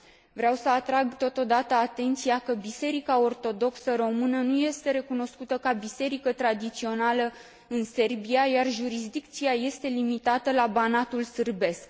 Vreau să atrag, totodată, atenția că Biserica Ortodoxă Română nu este recunoscută ca biserică tradițională în Serbia, iar jurisdicția este limitată la Banatul sârbesc.